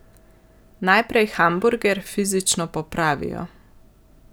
Najprej hamburger fizično popravijo.